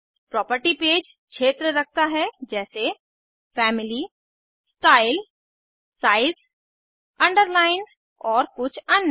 property page क्षेत्र रखता है जैसे फैमिली स्टाइल साइज अंडरलाइन और कुछ अन्य